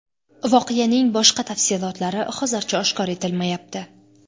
Voqeaning boshqa tafsilotlari hozircha oshkor etilmayapti.